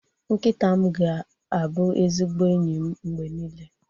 Nkịta m ga-abụ ezigbo enyi m mgbe niile